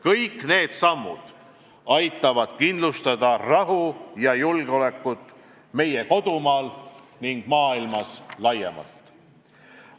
Kõik need sammud aitavad kindlustada rahu ja julgeolekut meie kodumaal ning maailmas laiemalt.